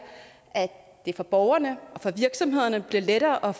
at det for borgerne og for virksomhederne bliver lettere at